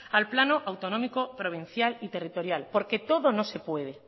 al plano autonómico provincial y territorial porque todo no se puede